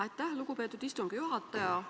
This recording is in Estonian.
Aitäh, lugupeetud istungi juhataja!